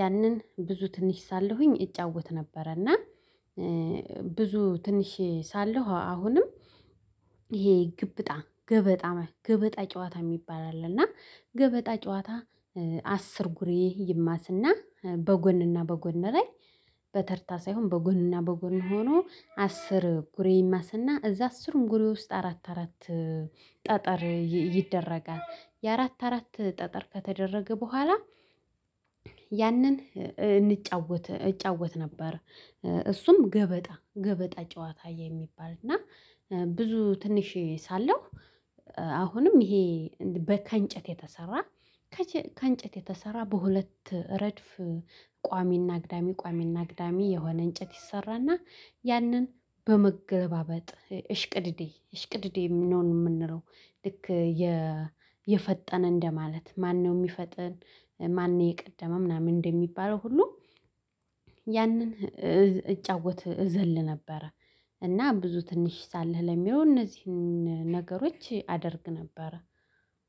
ያንን ብዙ ትንሽ ሳለሁኝ እጫወት ነበረ። እና ብዙ ትንሽ ሳለሁ አሁንም ይሄ ግብጣ ገበጣ ገበጣ ጨዋታ የሚባል አለ። እና ገበጣ ጨዋታ አስር ጉሬ ይማስና በጎንና በጎን ላይ በተርታ ሳይሆን በጎንና በጎን ሆኖ አስር ጉሬ ይማስና እዛ አስርም ጉሬ ውስጥ አራት አራት ጠጠር ይደረጋል የአራት አራት ጠጠር ከተደረገ በኋላ ያንን እንጫወት እጫወት ነበር። እሱም ገበጣ ገበጣ ጨዋታ የሚባል እና ብዙ ትንሽ ሳለሁ አሁንም ይሄ በከንጨት የተሰራ ከንጨት የተሰራ በሁለት ረድፍ ቋሚና አግዳሚ ቋሚና አግዳሚ የሆነ እንጨት ይሰራልና ያንን በመገበጥ እሽቅድድም እሽቅድድም የምንለው። ልክ የፈጠነ እንደማለት ማነው የሚፈጥን ማን የቀደመ ምናምን እንደሚባለው ሁሉ? ያንን እጫወት እዘል ነበረ። እና ብዙ ትንሽ ሳለው ለሚለው እነዚህን ነገሮች አደርግ ነበረ።